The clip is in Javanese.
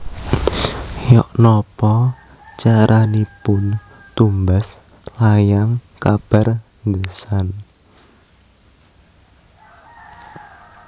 Yok nopo caranipun tumbas layang kabar The Sun